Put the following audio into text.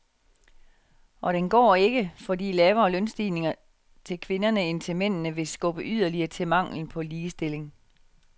Og den går ikke, fordi lavere lønstigninger til kvinderne end til mændene vil skubbe yderligere til manglen på ligestilling.